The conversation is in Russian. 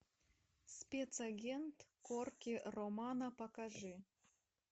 спецагент корки романо покажи